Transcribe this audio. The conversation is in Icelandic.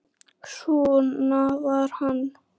Svona var hann.